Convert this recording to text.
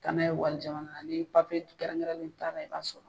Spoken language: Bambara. Taa n'a ye wali jamana na, ni kɛrɛnkɛrɛnnen t'a la i b'a sɔrɔ.